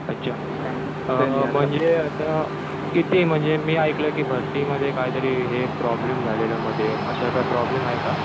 अच्छा. म्हणजे आता किती मी ऐकलंय कि भरतीमध्ये काहीतरी हे प्रॉब्लेम झालेला मध्ये. असा काही प्रॉब्लेम आहे का?